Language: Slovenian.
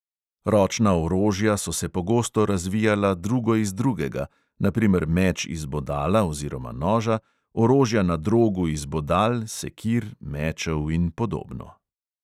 Ročna orožja so se pogosto razvijala drugo iz drugega, na primer meč iz bodala oziroma noža, orožja na drogu iz bodal, sekir, mečev in podobno.